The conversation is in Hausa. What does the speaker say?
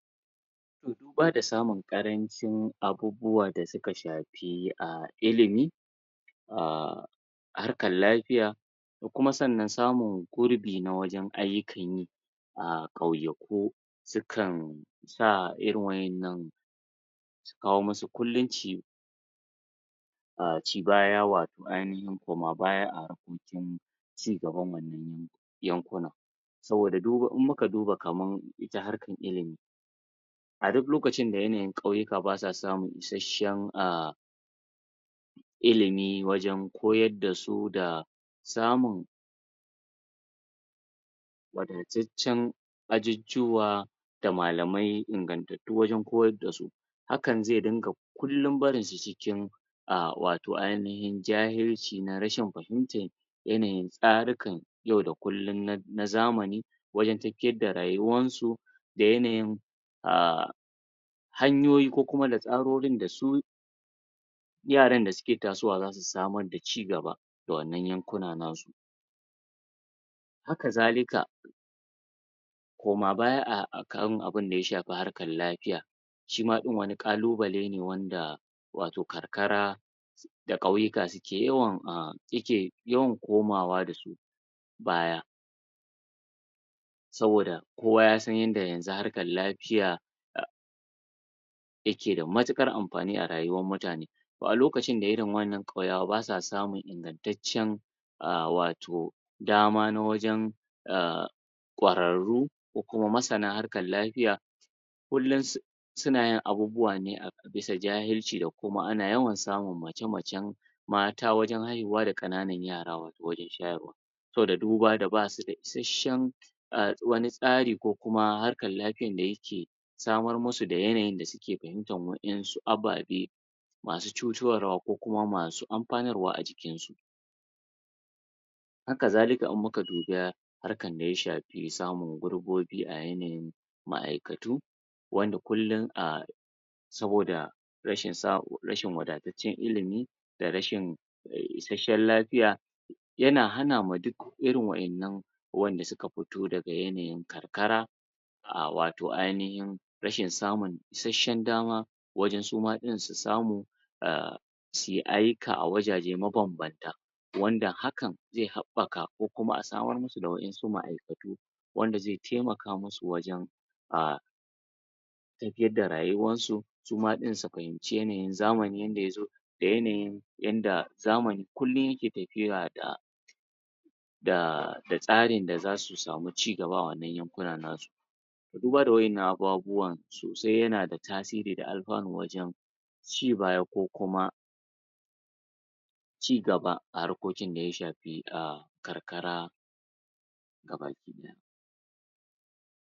Toh duba da samun ƙarancin abubuwa da suka shafi ahh ilimi ahh harkar lafiya da kuma sannan samun gurbin na wajan ayyukan yi ahh ƙauyaku sukan sa irin waƴannan kawo musu kullum ci ahh cibaya watau ainihin koma baya a cigaban wannan yankuna saboda duba, idan muka duba kamar harkar ilimi a duk lokacin da yanayin ƙauyuka ba suwa samun isheshen ahh ilimi wajan koyar dasu da samun wadataccen ajujuwa da malamai ingantatu wajan koyar da su hakan ze dinga kullum barinsu cikin ahh watau ainihin jahilci na rashin fahimta yanayin tsarukan yau da kullum na zamani wajan tafiyar da rayuwansu da yanayin ahh hanyoyin kokuma da tsarorin da su yaran da suke tasowa za su samar da cigaba da wannan yankunan nasu haka zalika koma baya akan abun daya shafi harkar lafiya shima ɗin wani kalubale ne wanda ya shafi watau karkara da ƙauyuka suke yawan komawa dasu baya saboda kowa yasan inda yanzu harkar lafiya yake da mutukar amfani a rayuwar mutane wani lokaci de irin waƴannan ƙauyawan ba suwa samun ingantace ahh watau dama na wajan ahh ƙwararu ko kuma masana harkar lafiya kullum su suna yin abubuwa ne bisa jahilci da kuma ana yawan samun mace-mace mata wajan haihuwa da ƙananan yara wajan shayarwa saboda duba da basuda isheshen ahh wani tsari kokuma harkar lafiyan da yake samar musu da yanayin da suke fahimtar wayansu ababe masu cutarwa ko kuma masu amfanarwa a jikin su haka zalika idan muka duba harkan da ya shafi samun gurbobi a yanayin ma'aykatu wanda kullum a saboda rashin wadataccen ilimi da rashin isheshen lafiya yana hana ma duk irin wayannan wanda suka fito daga yanayin karkara ahh watau ainihin rashin samu isheshen dama wajan suma ɗin su samu ahh su yi ayyuka a wajaje mabanbanta wanda hakan ze haɓaka ko kuma a samar musu da wayansu ma'aikatu wanda ze taimaka musu wajan ahh tafiyar da rayuwarsu suma ɗin su fahimce ne zamani inda ya zo da yanayin yanda zamani, kullum yake tafiya da da tsarin da zasu samu cigaba a wannan yankunnan na su duba da wayannan abubuwa sosai yana da tasiri da alfano wajan ci baya ko kuma cigaba a harkokin da ya shafi ahh karkara ga baki daya